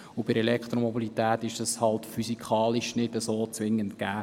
Bei der Elektromobilität ist das halt physikalisch nicht zwingend gegeben.